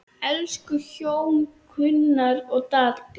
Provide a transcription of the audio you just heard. Elsku hjón, Gunnar og Dalla.